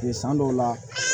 San dɔw la